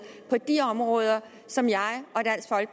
på de områder som jeg